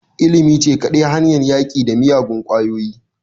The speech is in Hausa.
Ilimi ce kadai hanyar yaƙi da kiyagun ƙwayoyi